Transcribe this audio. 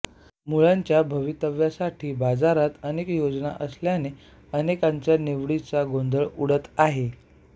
मुलांच्या भवितव्यासाठी बाजारात अनेक योजना असल्याने अनेकांचा निवडीचा गोंधळ उडत आहे